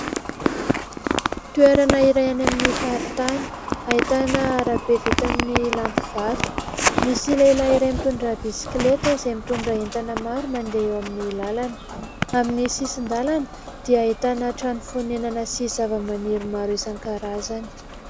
Toerana iray any amin'ny faritany, ahitana arabe vita amin'ny lampy vato, misy lehilahy iray mitondra bisikileta izay mitondra entana maro mandeha eo amin'ny lalana. Amin'ny sisin-dalana dia ahitana trano fonenana sy zava-maniry maro isankarazany.